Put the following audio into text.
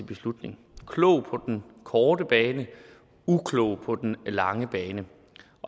beslutning klog på den korte bane uklog på den lange bane